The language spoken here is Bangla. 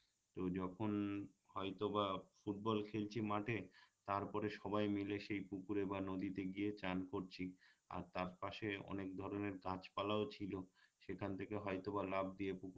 তো যখন হয়তো বা ফুটবল খেলছি মাঠে তারপরে সবাই মিলে সেই পুকুরে বা নদীতে গিয়ে স্নান করছি আর তার পাশে অনেক ধরনের গাছপালাও ছিলো সেখান থেকে হয়তো বা লাফ দিয়ে পুকুর